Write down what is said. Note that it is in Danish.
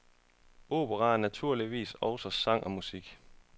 Opera er naturligvis også sang og musik.